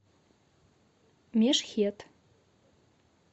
мешхед